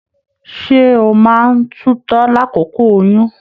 Ṣe o máa n tutọ l'akoko oyún?